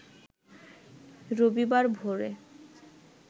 রবিবার ভোরে